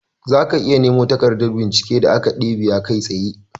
Zaka iya nemo takardar bincike a Akademiya kai tsaye.